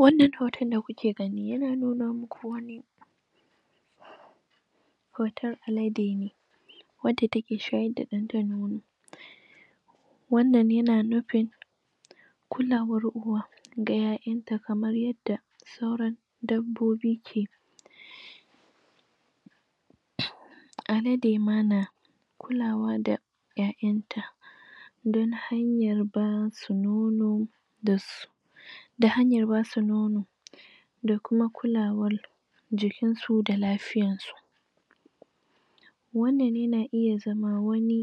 wannna hoto da kuke gani yana nuna muku hoton alade ne wacce take shayar da danta nono wannan yana nufin kulawar uwa ga yayanta kamar yadda saura dabbobi keyi alade ma na kulawa da yayanta ta hanyar bada nono da hanyar basu nono da kuma kulawar jikin su da lafiyarsu wannna yana iya zama wani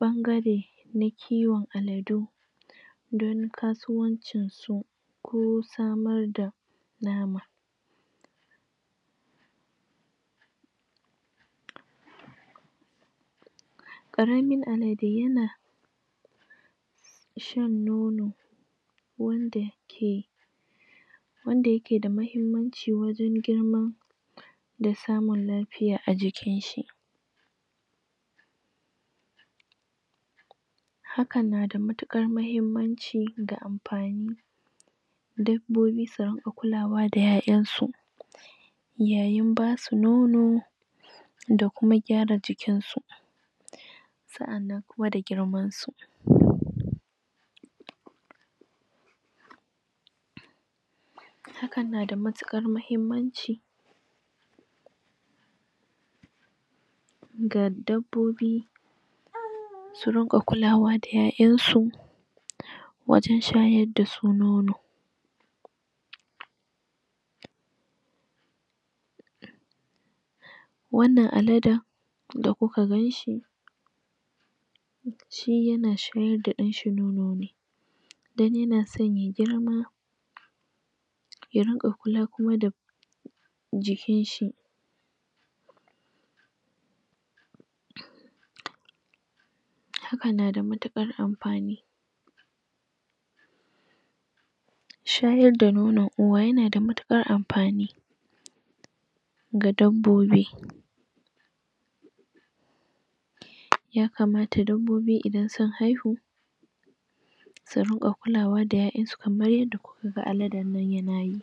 ɓangare na kiwon aladu don kasuwancin su ko samar da nama karamin alade yana shan nono wanda ke yake da muhimmanci wajen da samun lafiya ajikinshi hakan na da matukar muhimmanci da amfani dabbobi su rinka kulawa da Ƴaƴansu yayin basu nono dakuma gyara jikinsu sa'annan kuma da girman su? hakan na da matukar muhimmanci ga dabbobi su ringa kulawa da Ƴaƴansu wajen shayar da su nono wannnan alade da kuku ganshi shi yana shayar da danshi ne don yana son ya girma ya dinga kula kuma da jikinshi hakan na da matukar amfani shayar da nonon uwa yana da matukar amfani ga dabbobi yakamata dabbobi idan sun haihu su ringa kula wa da yayansu kamar yadda aladen nan ya keyi